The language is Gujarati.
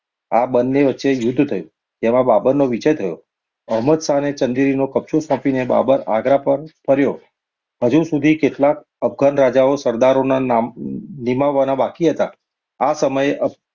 આ બંને વચ્ચે યુદ્ધ થયું, જેમાં બાબરનો વિજય થયો. અહમદશાહને ચાંદેરીનો કબ્જો સોંપીને બાબર આગ્રહ પર ફર્યો. હજુ સુધી કેટલાક અફધાન રાજાઓ, સરસરોને નામ~મ નિમાવવાના બાકી હતા. આ સમયે અફ